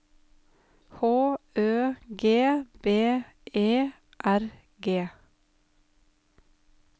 H Ø G B E R G